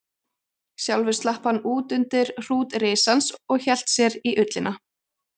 Sjálfur slapp hann út undir hrút risans og hélt sér í ullina.